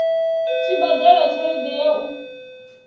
tshi badela tshelede ya u